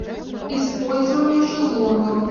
использование шезлонгов